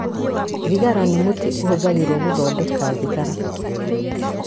Thigara nĩ mũtĩ ũhũthagĩrũo gũthondeka thigara.